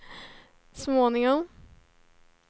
småningom